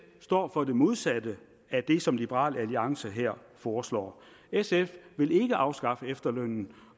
står for det modsatte af det som liberal alliance her foreslår sf vil ikke afskaffe efterlønnen